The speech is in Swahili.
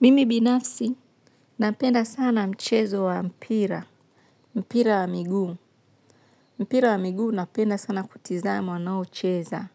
Mimi binafsi napenda sana mchezo wa mpira, mpira wa miguu. Mpira wa miguu napenda sana kutizama wanaocheza.